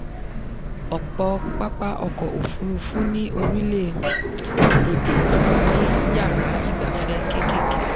ọ̀pọ̀ pápá ọkọ̀ òfurufú ní orílẹ̀-èdè kò ní yàrá ìgbafẹ́ kékèké.